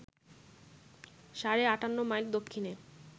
সাড়ে ৫৮ মাইল দক্ষিণে